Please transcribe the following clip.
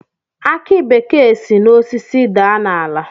Aki bekee si n'osisi daa n'ala